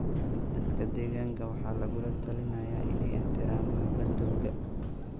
Dadka deegaanka waxaa lagula talinayaa inay ixtiraamaan bandowga.